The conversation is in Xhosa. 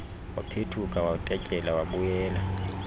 waphethuka watetyeza wabuyela